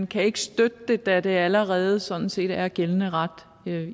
kan ikke støtte det da det allerede sådan set er gældende ret